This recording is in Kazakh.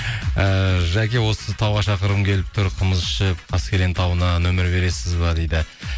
ііі жәке осы тауға шақырғым келіп тұр қымыз ішіп каскелен тауына нөмір бересіз бе дейді